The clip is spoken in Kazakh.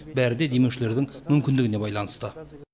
бәрі де демеушілердің мүмкіндігіне байланысты